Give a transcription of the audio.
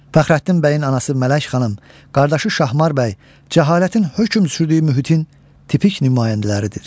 Fəxrəddin bəyin anası Mələk xanım, qardaşı Şahmar bəy, cəhalətin hökm sürdüyü mühitin tipik nümayəndələridir.